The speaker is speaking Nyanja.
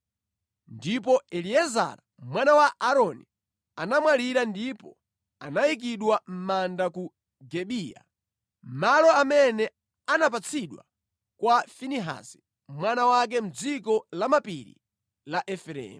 Ndipo Eliezara mwana wa Aaroni anamwalira ndipo anayikidwa mʼmanda ku Gibeya, malo amene anapatsidwa kwa Finehasi mwana wake, mʼdziko lamapiri la Efereimu.